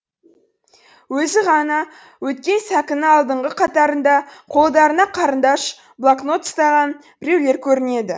өзі ғана өткен сәкінің алдыңғы қатарында қолдарына қарындаш блокнот ұстаған біреулер көрінеді